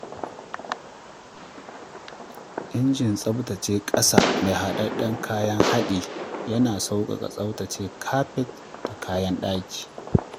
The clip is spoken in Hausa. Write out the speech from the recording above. Injin tsabtace ƙasa mai haɗaɗɗun kayan haɗi yana sauƙaƙa tsaftace kafet da kayan ɗaki.